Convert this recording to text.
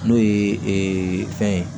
N'o ye fɛn ye